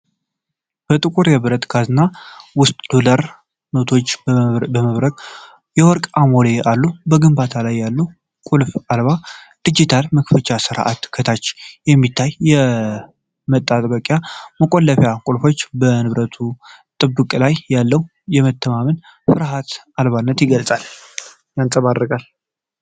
ጥቁር የብረት ካዝና ውስጥ የዶላር ኖቶችና የሚያብረቀርቁ የወርቅ አሞሌዎች አሉ። በግንባሩ ላይ ያለው ቁልፍ አልባ ዲጂታል መክፈቻ ሥርዓትና ከታች የሚታዩት የመጠባበቂያ መቆለፊያ ቁልፎች በንብረቱ ጥበቃ ላይ ያለውን መተማመንና ፍርሃት አልባነት ይገልጻሉ።